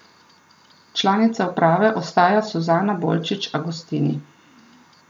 Članica uprave ostaja Suzana Bolčič Agostini.